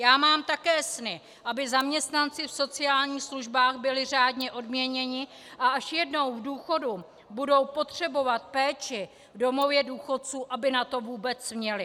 Já mám také sny - aby zaměstnanci v sociálních službách byli řádně odměněni, a až jednou v důchodu budou potřebovat péči v domově důchodců, aby na to vůbec měli.